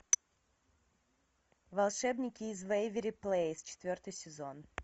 волшебники из вэйверли плэйс четвертый сезон